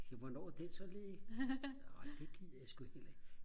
så hvornår er den så ledig ej det gider jeg sku heller ikke